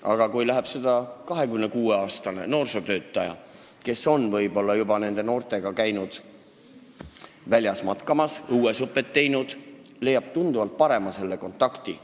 Aga kui selliste noorte juurde läheb 26-aastane noorsootöötaja, kes on nende noortega juba väljas matkamas käinud, õuesõpet teinud, siis leiab tema nendega tunduvalt paremini kontakti.